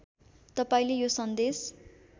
तपाईँले यो सन्देश